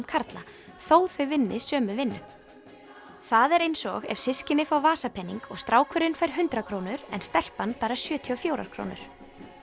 karla þó þau vinni sömu vinnu það er eins og ef systkini fá vasapening og strákurinn fær hundrað krónur en stelpan bara sjötíu og fjórar krónur